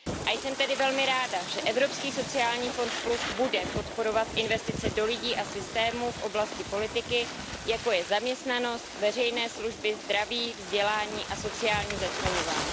A jsem tedy velmi ráda, že Evropský sociální fond plus bude podporovat investice do lidí a systémů v oblasti politiky, jako je zaměstnanost, veřejné služby, zdraví, vzdělání a sociální začleňování.